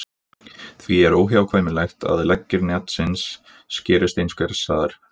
Því er óhjákvæmilegt að leggir netsins skerist einhvers staðar.